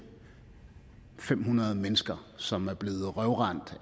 fem hundrede mennesker som er blevet røvrendt